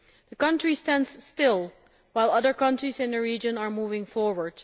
The country stands still, while other countries in the region are moving forward.